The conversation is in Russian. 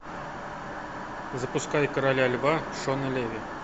запускай короля льва шона леви